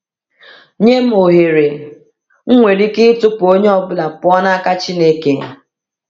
Nye m ohere, m nwere ike ịtụpụ onye ọ bụla pụọ n’aka Chineke.